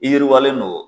I yiriwalen don